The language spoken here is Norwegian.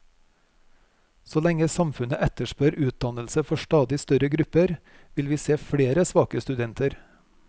Så lenge samfunnet etterspør utdannelse for stadig større grupper, vil vi se flere svake studenter.